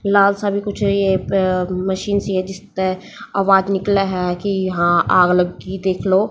लाल सा भी कुछ है ये पं मशीन सी है जिसपे आवाज निकला है कि यहां आग लग गई देख लो।